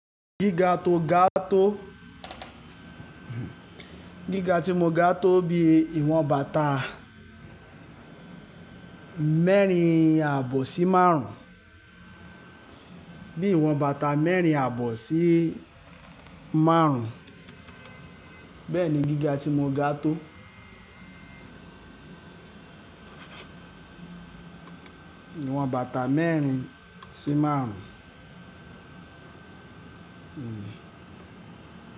Gíga tó ga tó, gíga tí mo ga tó bí ìwọ̀n bàtà mẹ́rin àbọ̀ sí márùn-ún, bí ìwọ̀n bàtà mẹ́rin àbọ̀ sí márùn-ún, bẹ́ẹ̀ ni gíga tí mo ga tó. Ìwọ̀n bàtà mẹ́rin sí márùn-ún.